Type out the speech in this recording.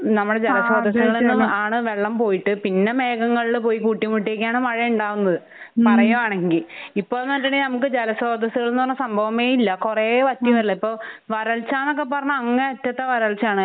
നമ്മടെ ആഹ് അതെ അതെ ജലസ്രോതസ്സ്കള് ആണ് വെള്ളം പോയിട്ട് പിന്നെ മേഘങ്ങളില് പോയി കൂട്ടി മുട്ടിയിട്ടാണ് മഴയുണ്ടാവുന്നത്. ഹം. പറയാണെങ്കി. ഇപ്പോന്ന് പറഞ്ഞിട്ടുണ്ടെങ്കി നമുക്ക് ജലസ്രോതസ്സുകൾന്ന് പറഞ്ഞ സംഭവമേ ഇല്ല. കുറേ വറ്റിയതല്ലേ. ഹം ഇപ്പൊ വരൾച്ചാന്നൊക്കെ പറഞ്ഞ അങ്ങേ അറ്റത്തെ വരച്ചയാണ്.